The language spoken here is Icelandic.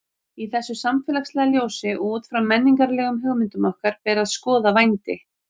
Í þessu samfélagslega ljósi og út frá menningarlegum hugmyndum okkar ber að skoða vændi.